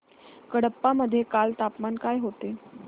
कडप्पा मध्ये काल तापमान काय होते